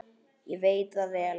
Ég veit það vel!